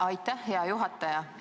Aitäh, hea juhataja!